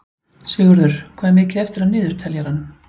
Sigurður, hvað er mikið eftir af niðurteljaranum?